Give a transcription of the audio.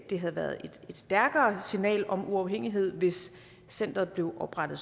det havde været et stærkere signal om uafhængighed hvis centeret blev oprettet